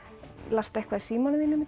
lastu eitthvað í símanum þínum